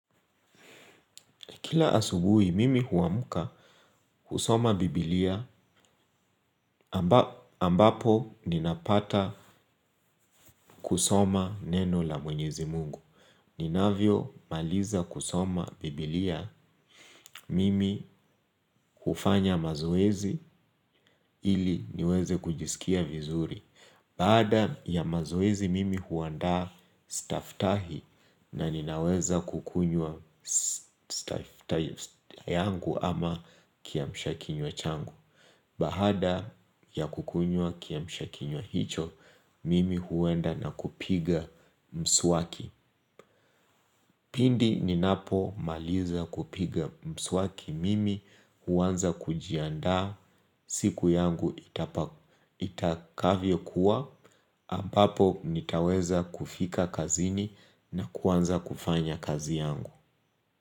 Kila asubuhi, mimi huamka kusoma biblia ambapo ninapata kusoma neno la mwenyezi mungu. Ninavyomaliza kusoma biblia mimi hufanya mazoezi ili niweze kujisikia vizuri. Baada ya mazoezi mimi huandaa staftahi na ninaweza kukunywa staftahi yangu ama kiamsha kinywa changu. Baada ya kukunywa kiamsha kinywa hicho, mimi huenda na kupiga mswaki. Pindi ninapomaliza kupiga mswaki mimi, huanza kujiandaa, siku yangu itakavyokuwa, ambapo nitaweza kufika kazini na kuanza kufanya kazi yangu.